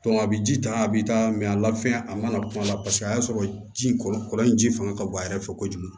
a bɛ ji ta a bɛ taa a lafɛn a mana kuma la paseke a y'a sɔrɔ ji kɔlɔ in ji fanga ka bon a yɛrɛ fɛ kojugu